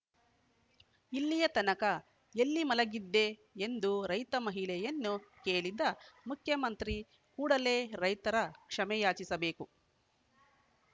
ಇಲ್ಲಿಯತನಕ ಎಲ್ಲಿ ಮಲಗಿದ್ದೆ ಎಂದು ರೈತ ಮಹಿಳೆಯನ್ನು ಕೇಳಿದ ಮುಖ್ಯಮಂತ್ರಿ ಕೂಡಲೇ ರೈತರ ಕ್ಷಮೆಯಾಚಿಸಬೇಕು